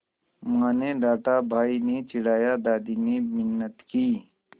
माँ ने डाँटा भाई ने चिढ़ाया दादी ने मिन्नत की